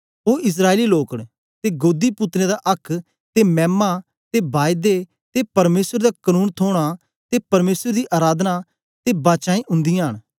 ओ इस्राएली लोक न ते गोदी पुत्रें दा आक्क ते मैमा ते बायदे ते परमेसर दा कनून थोना ते परमेसर दी अराधना ते बाचांऐं उन्दिआं न